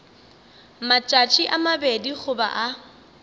matšatši a mabedi goba a